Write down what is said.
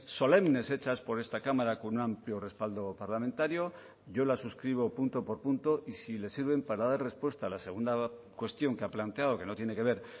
solemnes hechas por esta cámara con un amplio respaldo parlamentario yo las suscribo punto por punto y si le sirven para dar respuesta a la segunda cuestión que ha planteado que no tiene que ver